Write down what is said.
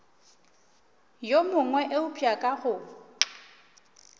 yo mongwe eupša ka go